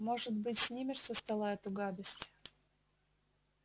может быть снимешь со стола эту гадость